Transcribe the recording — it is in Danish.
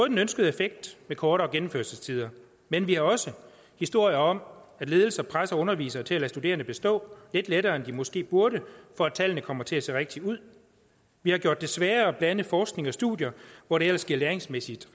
den ønskede effekt med kortere gennemførelsestider men vi har også historier om at ledelser presser undervisere til at lade studerende bestå lidt lettere end de måske burde for at tallene kommer til at se rigtige ud vi har gjort det sværere at blande forskning og studier hvor det ellers læringsmæssigt